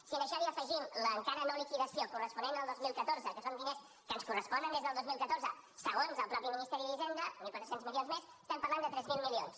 si a això hi afegim l’encara no liquidació corresponent al dos mil catorze que són diners que ens corresponen des del dos mil catorze segons el mateix ministeri d’hisenda mil quatre cents milions més estem parlant de tres mil milions